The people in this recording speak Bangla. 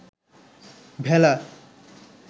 ভেলা